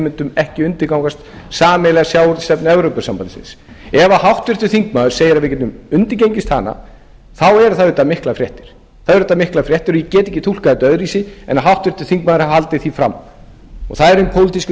mundum ekki undirgangast sameiginlega sjávarútvegsstefnu evrópusambandsins ef háttvirtur þingmaður segir að við getum undirgengist hana þá eru það auðvitað miklar fréttir það eru auðvitað miklar fréttir og ég get ekki túlkað þetta öðruvísi en háttvirtur þingmaður hafi haldið því fram það eru hin pólitísku